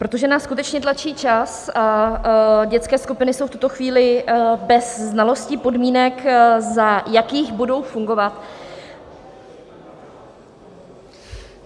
Protože nás skutečně tlačí čas a dětské skupiny jsou v tuto chvíli bez znalostí podmínek, za jakých budou fungovat...